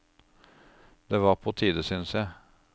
Det var på tide, syntes jeg.